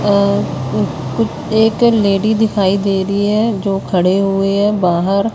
और कु एक लेडी दिखाई दे रही है जो खड़े हुए हैं बाहर--